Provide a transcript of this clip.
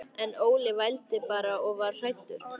En Óli vældi bara og var hræddur.